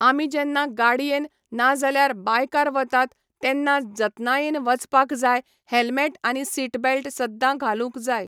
आमी जेन्ना गाडयेन नाजल्यार बायकार वतात तेन्ना जतनायेन वचपाक जाय हेल्मेट आनी सीटबेल्ट सद्दां घालूंक जाय.